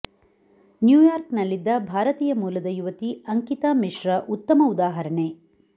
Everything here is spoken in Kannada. ನ್ಯೂಯಾರ್ಕ್ ನಲ್ಲಿದ್ದ ಭಾರತೀಯ ಮೂಲದ ಯುವತಿ ಅಂಕಿತಾ ಮಿಶ್ರಾ ಉತ್ತಮ ಉದಾಹರಣೆ